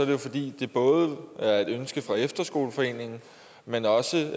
jo fordi det både er et ønske fra efterskoleforeningen men også